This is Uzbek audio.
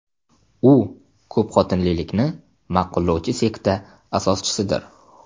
U ko‘pxotinlilikni ma’qullovchi sekta asoschisidir.